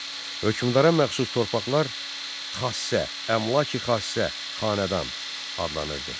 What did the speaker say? Hökmdara məxsus torpaqlar xassə, əmlaki-xassə, xanədan adlanırdı.